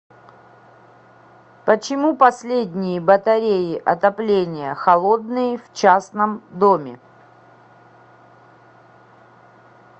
почему последние батареи отопления холодные в частном доме